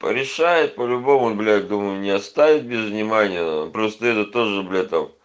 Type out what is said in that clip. порешает по-любому блять думаю не оставит без внимания просто этот тоже блять там